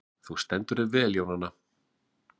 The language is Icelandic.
Þú stendur þig vel, Jónanna!